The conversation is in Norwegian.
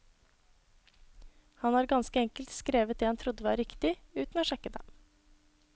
Han har ganske enkelt skrevet det han trodde var riktig, uten å sjekke det.